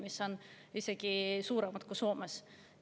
Need on isegi suuremad kui Soomes.